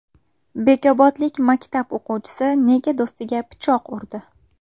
Bekobodlik maktab o‘quvchisi nega do‘stiga pichoq urdi?